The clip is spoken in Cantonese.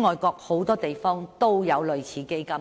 外國很多地方也有類似基金。